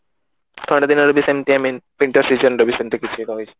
ଖରା ଦିନ ରେ ବି ସେମିତି I mean winter season ର ସେମିତି କିଛି ରହିଛି